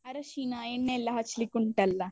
ಅರಶಿನ, ಎಣ್ಣೆ ಎಲ್ಲ ಹಚ್ಲಿಕ್ಕೆ ಉಂಟಲ್ಲಾ?